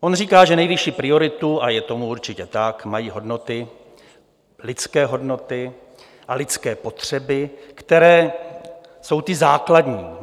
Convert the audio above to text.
On říká, že nejvyšší prioritu, a je tomu určitě tak, mají hodnoty, lidské hodnoty a lidské potřeby, které jsou ty základní.